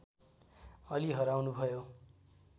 अलि हराउनुभयो